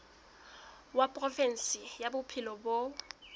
wa provinse ya bophelo bo